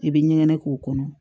I bɛ ɲɛgɛn k'o kɔnɔ